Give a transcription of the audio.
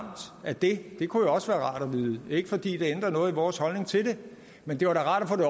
af det det kunne også være rart at vide ikke fordi det ændrer noget i vores holdning til det men det var da rart at